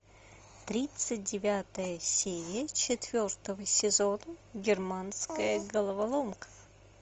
тридцать девятая серия четвертого сезона германская головоломка